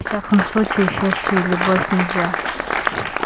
во всяком случае счастье и любовь нельзя